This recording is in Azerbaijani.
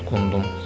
Udqundum.